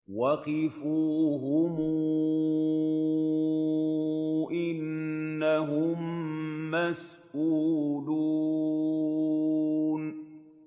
وَقِفُوهُمْ ۖ إِنَّهُم مَّسْئُولُونَ